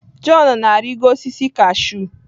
John na-arịgo osisi kashụ.